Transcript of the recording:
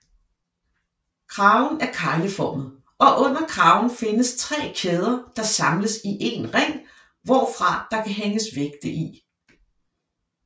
Kraven er kegleformet og under kraven findes tre kæder der samles i en ring hvorfra der kan hænges vægte i